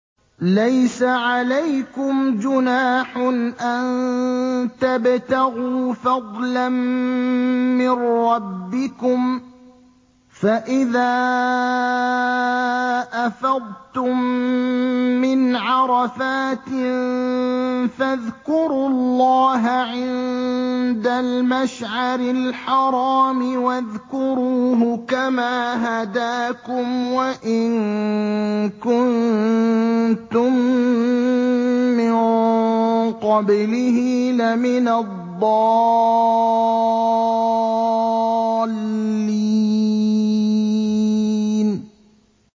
لَيْسَ عَلَيْكُمْ جُنَاحٌ أَن تَبْتَغُوا فَضْلًا مِّن رَّبِّكُمْ ۚ فَإِذَا أَفَضْتُم مِّنْ عَرَفَاتٍ فَاذْكُرُوا اللَّهَ عِندَ الْمَشْعَرِ الْحَرَامِ ۖ وَاذْكُرُوهُ كَمَا هَدَاكُمْ وَإِن كُنتُم مِّن قَبْلِهِ لَمِنَ الضَّالِّينَ